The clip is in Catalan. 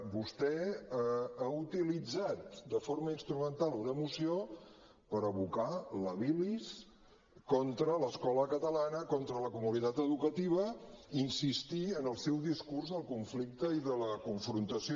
vostè ha utilitzat de forma instrumental una moció per abocar la bilis contra l’escola catalana contra la comunitat educativa i insistir en el seu discurs del conflicte i de la confrontació